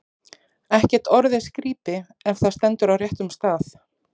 Ekkert orð er skrípi, ef það stendur á réttum stað.